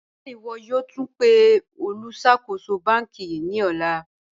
Ṣẹ̀ ìwọ̀ yòó túń pẹ̀ olùṣakóṣò bankí ní òlà?